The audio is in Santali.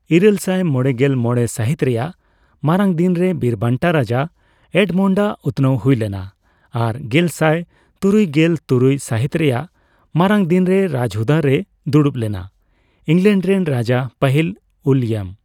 ᱤᱨᱟᱹᱞᱥᱟᱭ ᱢᱚᱲᱮᱜᱮᱞ ᱢᱚᱲᱮ ᱥᱟᱹᱦᱤᱛ ᱨᱮᱭᱟᱜ ᱢᱟᱨᱟᱝ ᱫᱤᱱ ᱨᱮ ᱵᱤᱨᱵᱟᱱᱴᱟ ᱨᱟᱡᱟ ᱮᱰᱢᱚᱱᱰᱟᱜ ᱩᱛᱱᱟᱹᱣ ᱦᱩᱭ ᱞᱮᱱᱟ ᱟᱨ ᱜᱮᱞᱥᱟᱭ ᱛᱩᱨᱩᱭᱜᱮᱞ ᱛᱩᱨᱩᱭ ᱥᱟᱹᱦᱤᱛ ᱨᱮᱭᱟᱜ ᱢᱟᱨᱟᱝ ᱫᱤᱱ ᱨᱮ ᱨᱟᱡᱽᱦᱩᱫᱟᱹ ᱨᱮᱭ ᱫᱩᱲᱩᱯ ᱞᱮᱱᱟ ᱤᱝᱞᱮᱱᱰ ᱨᱮᱱ ᱨᱟᱡᱟ ᱯᱟᱹᱦᱤᱞ ᱩᱭᱞᱤᱭᱟᱢ ᱾